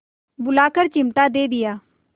बुलाकर चिमटा दे दिया